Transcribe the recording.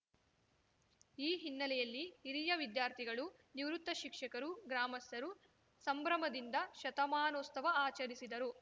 ಈ ಹಿನ್ನೆಲೆಯಲ್ಲಿ ಹಿರಿಯ ವಿದ್ಯಾರ್ಥಿಗಳು ನಿವೃತ್ತ ಶಿಕ್ಷಕರು ಗ್ರಾಮಸ್ಥರು ಸಂಭ್ರಮದಿಂದ ಶತಮಾನೋಸ್ತವ ಆಚರಿಸಿದರು